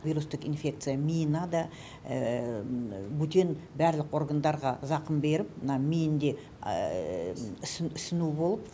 вирустық инфекция миына да бөтен барлық органдарға зақым беріп мына миінде ісіну болып